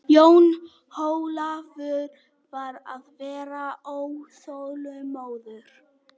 Jón Ólafur var að verða óþolinmóður.